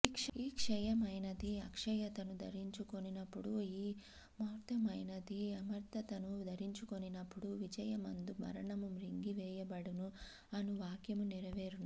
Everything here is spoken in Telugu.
ఈ క్షయమైనది అక్షయతను ధరించుకొనినప్పుడు ఈ మర్త్యమైనది అమర్త్యతను ధరించుకొనినప్పుడు విజయమందు మరణము మ్రింగి వేయబడెను అను వాక్యము నెరవేరును